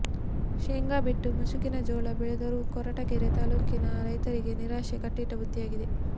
ಶೇಂಗಾ ಬಿಟ್ಟು ಮುಸುಕಿನ ಜೋಳ ಬೆಳೆದರೂ ಕೊರಟಗೆರೆ ತಾಲ್ಲೂಕಿನ ರೈತರಿಗೆ ನಿರಾಶೆ ಕಟ್ಟಿಟ್ಟ ಬುತ್ತಿಯಾಗಿದೆ